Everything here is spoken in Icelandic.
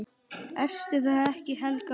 Ertu það ekki, Helga mín?